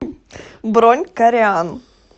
бронь кореан